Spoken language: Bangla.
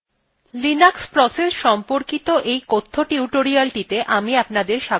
linux processes সম্পর্কিত এই কথ্য টিউটোরিয়ালটিতে আমি আপনাদের স্বাগত জানাচ্ছি